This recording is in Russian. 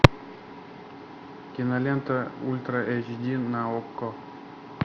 кинолента ультра эйч ди на окко